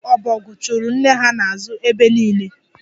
Ụmụ ọbọgwụ chụụrụ nne ha n'azụ ebe niile.